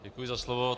Děkuji za slovo.